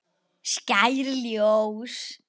Skær ljós.